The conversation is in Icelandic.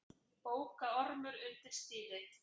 Bókaormur undir stýri